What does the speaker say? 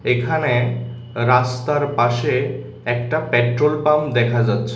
এখানে রাস্তার পাশে একটা পেট্রোল পাম্প দেখা যাচ্ছে।